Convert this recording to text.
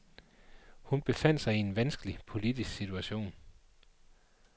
Hun befandt sig i en vanskelig politisk situation.